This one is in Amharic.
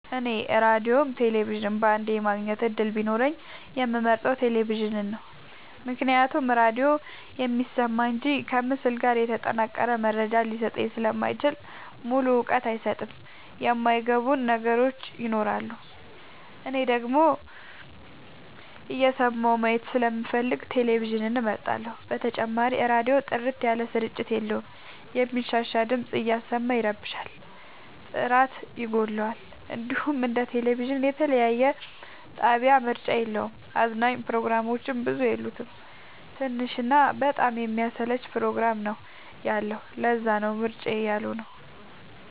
እኔ ራዲዮም ቴሌቪዥንም በአንዴ የማግኘት እድል ቢኖረኝ የምመርጠው። ቴሌቪዥንን ነው ምክንያቱም ራዲዮ የሚሰማ እንጂ ከምስል ጋር የተጠናቀረ መረጃ ሊሰጠኝ ስለማይችል ሙሉ እውቀት አይሰጥም የማይ ገቡን ነገሮች ይኖራሉ። እኔ ደግሞ እየሰማሁ ማየት ስለምፈልግ ቴሌቪዥንን እመርጣለሁ። በተጨማሪም ራዲዮ ጥርት ያለ ስርጭት የለውም የሚንሻሻ ድምፅ እያሰማ ይረብሻል ጥራት ይጎለዋል። እንዲሁም እንደ ቴሌቪዥን የተለያየ የጣቢያ ምርጫ የለውም። አዝናኝ ፕሮግራሞችም ብዙ የሉት ትንሽ እና በጣም የሚያሰለች ፕሮግራም ነው ያለው ለዛነው ምርጫዬ ያልሆ ነው።